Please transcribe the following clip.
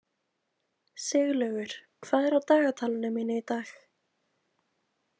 Siglaugur, hvað er á dagatalinu mínu í dag?